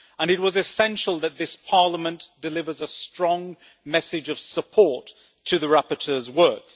It was essential that this Parliament delivers a strong message of support to the rapporteur's work.